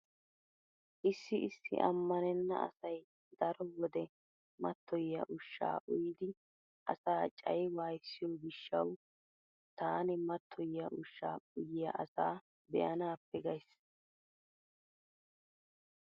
Issi issi ammanenna asay daro wode mattoyiya ushshaa uyidi asaa cayi wwayissiyo gishshawu taani mattoyiya ushshaa uyiya asaa be'anaappe gays.